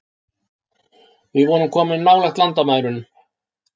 Við vorum komin nálægt landamærum